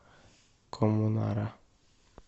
коммунара